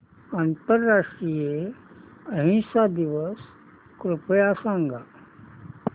आंतरराष्ट्रीय अहिंसा दिवस कृपया सांगा